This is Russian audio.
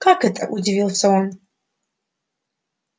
как это удивился он